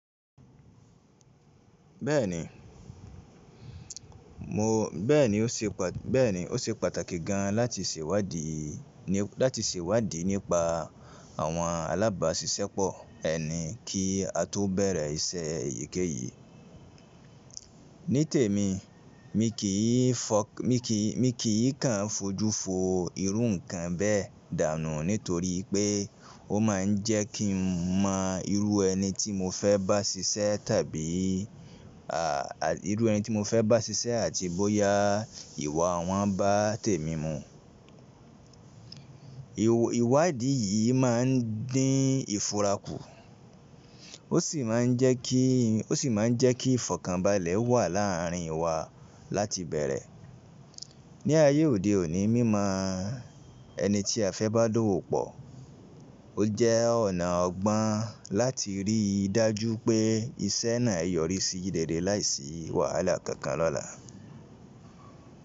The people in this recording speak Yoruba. Bẹ́ẹ̀ni, ó ṣe pàtàkì gan láti sèwádi nípa àwọn alábáṣiṣẹ́pọ̀ ẹni kí á tó bẹ̀rẹ̀ iṣẹ́ èyíkéyìí. Nítèmi, mi kì í kàn fojú fo irú ǹkan bẹ́ẹ̀ dànù nítorí pé ó máa ń jẹ́ kí n mọ irú ẹni tí mo fẹ́ bá ṣiṣẹ́ àti bóyá ìwà wọn bá tèmi mu. Ìwádi yìí máa ń dín ìfura kù, ó sì máa ń jẹ́ kí ìfọ̀kànbalẹ̀ wà láàárín wa láti bẹ̀rẹ̀. Ni ayé òde òní mímọ ẹni tí a fẹ́ bá dọ́wọ́ pọ̀, ó jẹ́ ọ̀nà ọgbọ́n láti rí i dájú pé iṣẹ́ náà yọrí sí rere láìsí wàhálà kankan lọ́la.